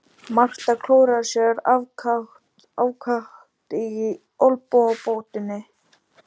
Marta klóraði sér ákaft í olnbogabótinni.